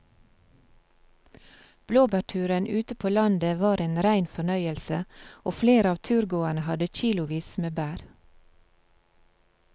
Blåbærturen ute på landet var en rein fornøyelse og flere av turgåerene hadde kilosvis med bær.